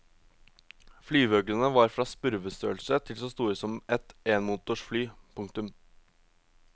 Flyveøglene var fra spurvestørrelse til så store som et enmotors fly. punktum